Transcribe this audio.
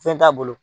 Fɛn t'a bolo